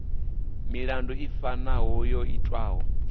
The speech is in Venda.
milandu i fanaho yo itwaho